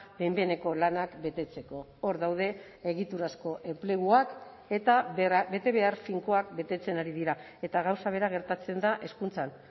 behin behineko lanak betetzeko hor daude egiturazko enpleguak eta betebehar finkoak betetzen ari dira eta gauza bera gertatzen da hezkuntzan